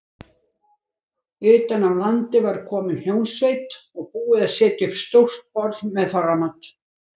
Utan af landi var komin hljómsveit og búið að setja upp stórt borð með þorramat.